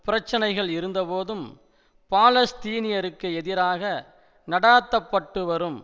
பிரச்சினைகள் இருந்தபோதும் பாலஸ்தீனியருக்கு எதிராக நடாத்தப்பட்டுவரும்